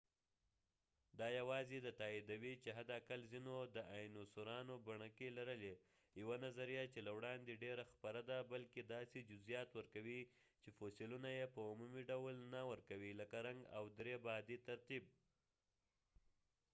دا یواځې دا تائیدوي چې حد اقل ځینو داینوسورانو بڼکې لرلې یوه نظریه چې له وړاندې ډیره خپره ده بلکې داسې جزئیات ورکوي چې فوسیلونه یې په عمومي ډول نه ورکوي لکه رنګ او درې بعدي ترتیب